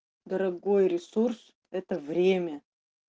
дорогой ресурс это время